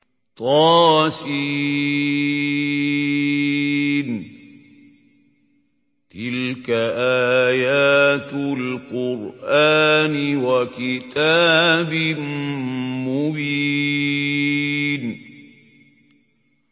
طس ۚ تِلْكَ آيَاتُ الْقُرْآنِ وَكِتَابٍ مُّبِينٍ